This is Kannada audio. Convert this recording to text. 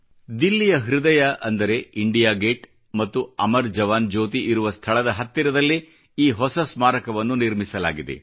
ದಿಲ್ಲಿಯ ಹೃದಯ ಅಂದರೆ ಇಂಡಿಯಾ ಗೇಟ್ ಮತ್ತು ಅಮರ್ ಜವಾನ್ ಜ್ಯೋತಿ ಇರುವ ಸ್ಥಳದ ಹತ್ತಿರದಲ್ಲೇ ಈ ಹೊಸ ಸ್ಮಾರಕವನ್ನು ನಿರ್ಮಿಸಲಾಗಿದೆ